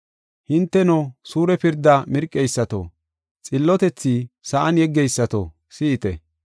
Hinteno, suure pirdaa mirqeysato, xillotethi sa7an yeggeysato, si7ite.